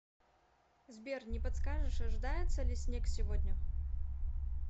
сбер не подскажешь ожидается ли снег сегодня